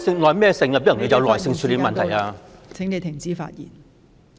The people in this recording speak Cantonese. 梁耀忠議員，你的發言時限到了，請停止發言。